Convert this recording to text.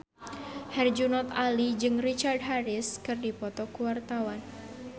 Herjunot Ali jeung Richard Harris keur dipoto ku wartawan